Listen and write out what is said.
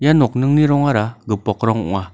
ia nokni rongara gipok rong ong·a.